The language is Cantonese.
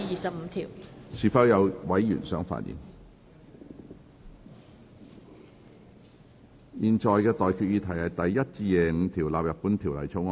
我現在向各位提出的待決議題是：第1至25條納入本條例草案。